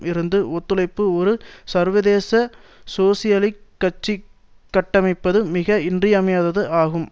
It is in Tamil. இருந்து ஒத்துழைப்பும் ஒரு சர்வதேச சோசியலிசக் கட்சி கட்டமைப்பதும் மிக இன்றியமையாதது ஆகும்